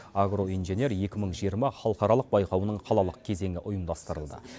агроинженер екі мың жиырма халықаралық байқауының қалалық кезеңі ұйымдастырылды